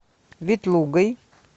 ветлугой